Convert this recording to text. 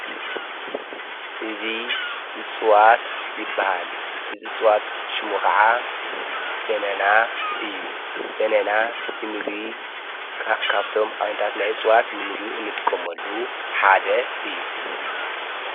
እዝ እጽዋት ይበሃል እዝ እጽዋት ሹሙኡ ኸዓ በነና እዩ በነና ንምግቢ ካብቶም ዓይነታት ናይ እጽዋት ንምግቢ እንጥቀመሉ ሓደ እዩ::